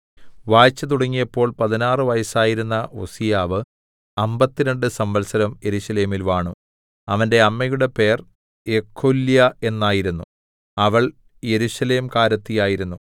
വാഴ്ച തുടങ്ങിയപ്പോൾ പതിനാറ് വയസ്സായിരുന്ന ഉസ്സീയാവ് അമ്പത്തിരണ്ട് സംവത്സരം യെരൂശലേമിൽ വാണു അവന്റെ അമ്മയുടെ പേർ യെഖൊല്യാ എന്നായിരുന്നു അവൾ യെരൂശലേംകാരത്തി ആയിരുന്നു